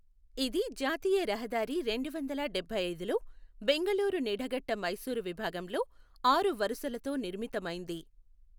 ఇది జాతీయ రహదారి రెండువందల డభైఐదులో బెంగళూరు నిడఘట్ట మైసూరు విభాగంలో ఆరు వరుసలతో నిర్మితమైంది.